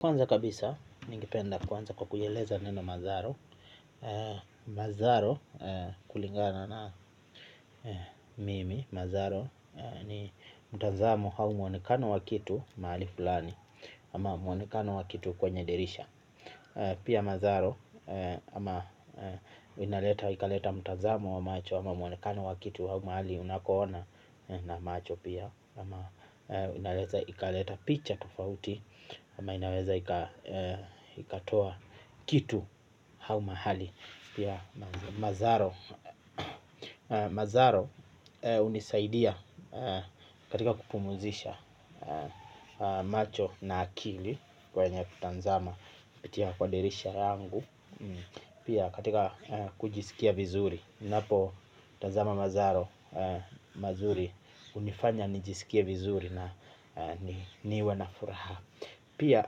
Kwanza kabisa, ningependa kuanza kwa kuieleza neno mazaro. Mazaro kulingana na mimi, mazaro ni mtazamo au mwonekano wa kitu mahali fulani. Ama mwonekano wa kitu kwenye dirisha. Pia mazaro, ama inaleta ikaleta mtazamo wa macho ama mwonekano wa kitu au mahali unakoona na macho pia ama inaweza ikaleta picha tofauti. Ama inaweza ikatoa kitu au mahali. Pia mazaro mazaro hunisaidia katika kupumzisha macho na akili kwenya kutazama kupitia kwa dirisha yangu. Pia katika kujisikia vizuri ninapo tazama mazaro mazuri hunifanya nijisikie vizuri na niwe na furaha. Pia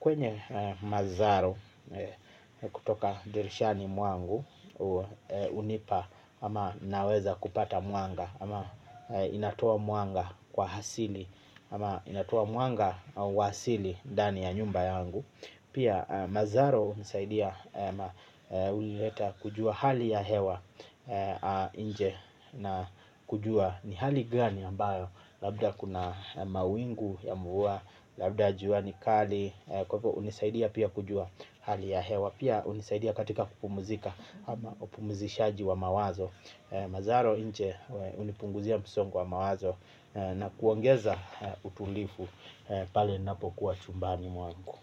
kwenye mazaro kutoka dirishani mwangu hunipa ama naweza kupata mwanga ama inatoa mwanga kwa asili ama inatoa mwanga wa asili ndani ya nyumba yangu. Pia mazaro hunisaidia ama huleta hali ya hewa nje na kujua ni hali gani ambayo labda kuna mawingu ya mvua labda jua ni kali kwa hivyo hunisaidia pia kujua hali ya hewa. Pia hunisaidia katika kupumzika ama upumzishaji wa mawazo mazaro nje hunipunguzia msongo wa mawazo na kuongeza utulivu pale ninapokuwa chumbani mwangu.